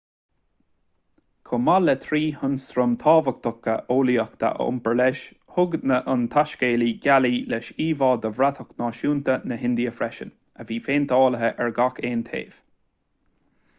chomh maith le trí hionstraim thábhachtacha eolaíochta a iompar leis thug an taiscéalaí gealaí leis íomha de bhratach náisiúnta na hindia freisin a bhí péinteáilte ar gach aon taobh